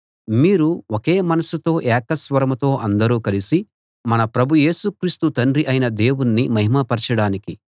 మీరు ఒకే మనసుతో ఏక స్వరంతో అందరూ కలిసి మన ప్రభు యేసు క్రీస్తు తండ్రి అయిన దేవుణ్ణి మహిమ పరచడానికి